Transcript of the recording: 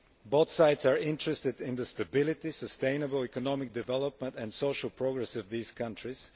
Both sides are interested in the stability, sustainable economic development and social progress of these countries.